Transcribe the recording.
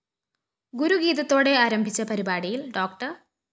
ഗുരുഗീതത്തോടെ ആരംഭിച്ച പരിപാടിയില്‍ ഡോ